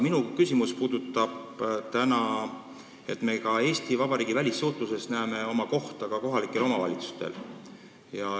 Minu küsimus puudutab seda, et me näeme Eesti Vabariigi välissuhtluses kohta ka kohalikel omavalitsustel.